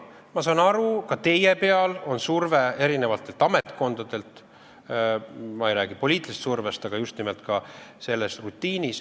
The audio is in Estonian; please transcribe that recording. Ma saan aru, ka teile avaldatakse survet eri ametkondadelt, kusjuures ma ei räägi poliitilisest survest, vaid just nimelt ka selle rutiini mõttes.